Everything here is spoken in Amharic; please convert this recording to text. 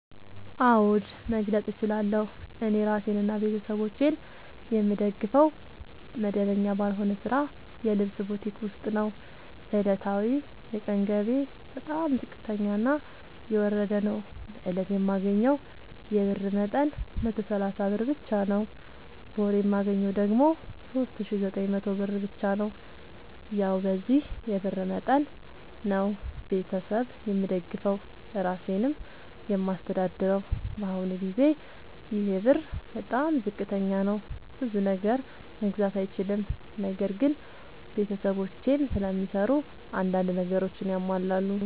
አዎድ መግለጥ እችላለሁ። እኔ እራሴንና ቤተሠቦቼን የምደግፈዉ መደበኛ ባልሆነ ስራ የልብስ ቡቲክ ዉስጥ ነዉ። ዕለታዊ የቀን ገቢየ በጣም ዝቅተኛና የወረደ ነዉ። በእለት የማገኘዉ የብር መጠን 130 ብር ብቻ ነዉ። በወር የማገኘዉ ደግሞ 3900 ብር ብቻ ነዉ። ያዉ በዚህ የብር መጠን መጠን ነዉ። ቤተሠብ የምደግፈዉ እራሴንም የማስተዳድረዉ በአሁኑ ጊዜ ይሄ ብር በጣም ዝቅተኛ ነዉ። ብዙ ነገር መግዛት አይችልም። ነገር ግን ቤተሰቦቼም ስለሚሰሩ አንዳንድ ነገሮችን ያሟላሉ።